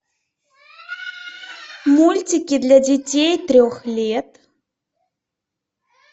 мультики для детей трех лет